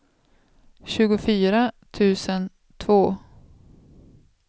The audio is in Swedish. tjugofyra tusen två